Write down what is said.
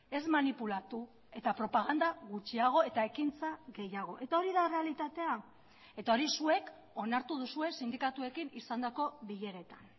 ez manipulatu eta propaganda gutxiago eta ekintza gehiago eta hori da errealitatea eta hori zuek onartu duzue sindikatuekin izandako bileretan